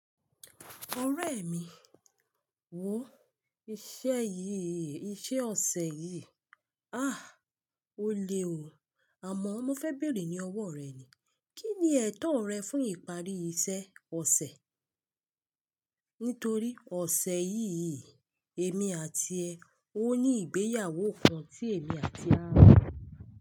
Ọ̀rẹ́ mi, wòó iṣẹ́ yìí, iṣẹ́ ọ̀sẹ̀ yìí. Ah! O le wò ó. Àmọ́ mo fẹ́ bèrè ní ọwọ́ rẹ ni. Kí ni ẹ̀tọ́ rẹ fún ìparí iṣẹ́ ọ̀sẹ̀? Nítorí ọ̀sẹ̀ yìí, èmi àti ẹ, ó ní ìgbéyàwó kan tí èmi àti ló.